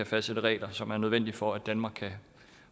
fastsætte regler som er nødvendige for at danmark kan